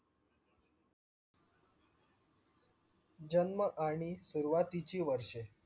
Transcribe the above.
जन्म आणि सुरुवातीची वर्षे